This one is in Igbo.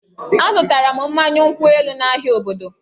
Azụtara m mmanya nkwụ elu n'ahịa obodo